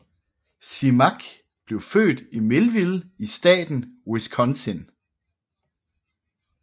Simak blev født i Millville i staten Wisconsin